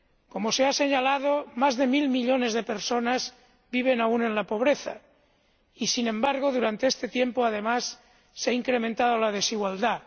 Como se ha señalado, más de mil millones de personas viven aún en la pobreza y, sin embargo, durante este tiempo, además, se ha incrementado la desigualdad.